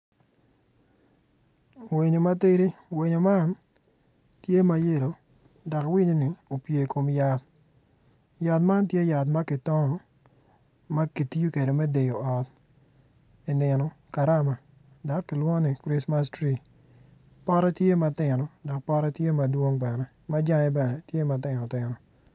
Winyo matidi winyo man tye ma yelo dok winyonin opyer i kom yat, yat man tye yat ma kitongo makitiyo kede me deyo ot inino karama dok kilwongo ni chrismas tree pote tye matino dok pote tye madwong bene majange bene tye matino tino.